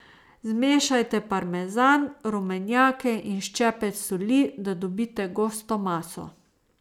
Zmešajte parmezan, rumenjake in ščepec soli, da dobite gosto maso.